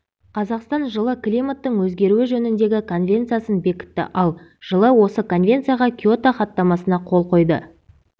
қазақстан жылы климаттың өзгеруі жөніндегі конвенциясын бекітті ал жылы осы конвенцияға киото хаттамасына қол қойды